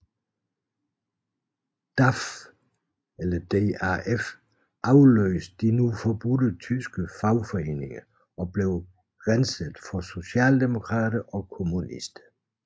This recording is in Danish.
DAF afløste de nu forbudte tyske fagforeninger og blev renset for socialdemokrater og kommunister